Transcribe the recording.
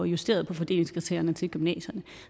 justeret på fordelingskriterierne til gymnasierne